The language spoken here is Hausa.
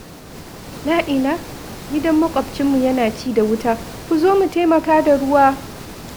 La'ila! Gidan maƙwabcinmu yana ci da wuta! Ku zo mu taimaka da ruwa!